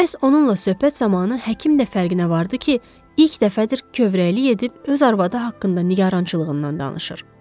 Məhz onunla söhbət zamanı həkim də fərqinə vardı ki, ilk dəfədir kövrəylik edib öz arvadı haqqında nigarançılığından danışır.